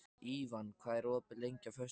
Ívan, hvað er opið lengi á föstudaginn?